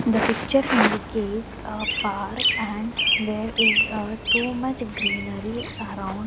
the picture indicates a park and there is uh too much greenery around.